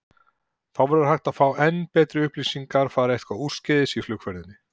Þá verður hægt að fá enn betri upplýsingar fari eitthvað úrskeiðis í flugferðinni.